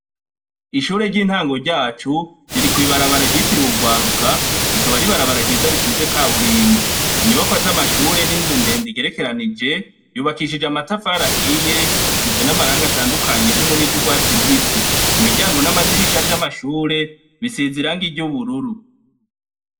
Ishuri ryintango ryacu riri kw'ibarabara ryitiriwe urwaruka rikaba ari ibararabara ryiza risize kaburimbi, Inyubakwa za mashuri n'inzu ndende igerekeranije yubakishije amatafari ahiye isize n'amarangi atandukanye harimwo niryo urwatsi rubusi imiryango n'amadirisha vyama shure bisize irangi ry'ubururu.